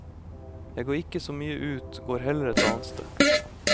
Jeg går ikke så mye ut, går heller et annet sted.